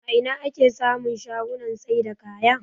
A ina ake samun shagunan saida kaya?